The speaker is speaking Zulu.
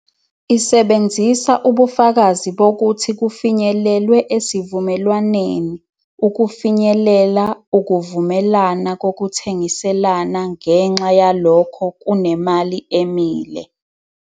Isebenzisa ubufakazi bokuthi kufinyelelwe esivumelwaneni ukufinyelela ukuvumelana kokuthengiselana-ngenxa yalokho kunemali emile.